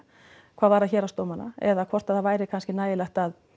hvað varðar héraðsdómana eða hvort að það væri kannski nægilegt að